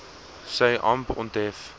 sy amp onthef